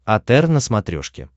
отр на смотрешке